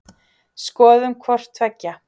Skoðum hvort tveggja.